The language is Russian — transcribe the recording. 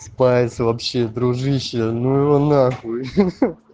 спайс вообще дружище ну его на хуй ха-ха